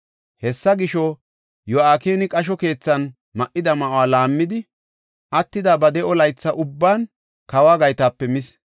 Hessa gisho, Yo7akini qasho keethan ma7ida ma7uwa laammidi, attida ba de7o laytha ubban kawo gaytape mis.